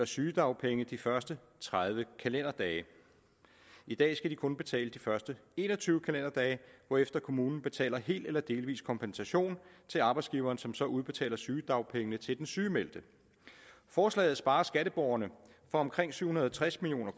sygedagpenge de første tredive kalenderdage i dag skal de kun betale de første en og tyve kalenderdage hvorefter kommunen betaler hel eller delvis kompensation til arbejdsgiveren som så udbetaler sygedagpenge til den sygemeldte forslaget sparer skatteborgerne for omkring syv hundrede og tres million